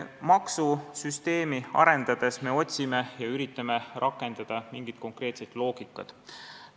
Maksusüsteemi arendades me otsime ja üritame rakendada mingit konkreetset loogikat.